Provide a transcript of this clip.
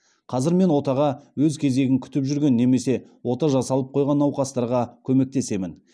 қазір мен отаға өз кезегін күтіп жүрген немесе ота жасалып қойған науқастарға көмектесемін